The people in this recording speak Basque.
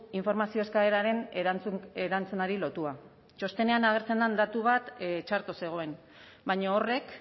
informazio eskaeraren erantzunari lotua txostenean agertzen den datu bat txarto zegoen baina horrek